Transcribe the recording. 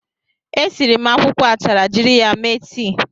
E siri m akwụkwọ achara jiri ya mee tii.